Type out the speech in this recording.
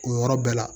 O yɔrɔ bɛɛ la